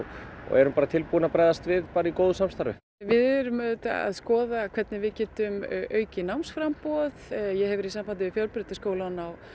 erum tilbúin að bregðast við í góðu samstarfi við erum auðvitað að skoða hvernig við getum aukið námsframboð ég hef verið í sambandi við Fjölbrautaskólann á